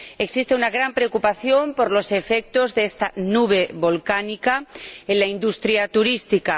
Existe una gran preocupación por los efectos de esta nube volcánica en la industria turística.